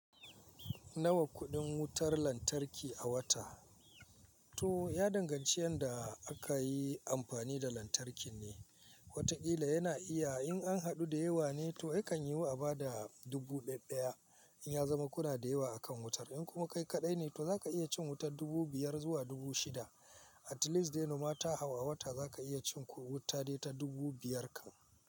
Nawa kuɗin wutar lantarki a wata? To ya danganci yanda aka yi amfani da lantarkin ne. Watakila yana iya in an haɗu da yawa ne to yakan yi waba da dubu daya daya in ya zama kuɗa da yawa a kan wutar. In kuma kai kaɗai ne to za ka iya cin wuta dubu biyar zuwa dubu shida. At least dai noma ta hau a wata za ka iya cin ku wuta dai ta dubu biyar ka.